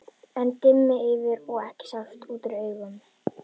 Enn dimmdi yfir, og ekki sást út úr augum.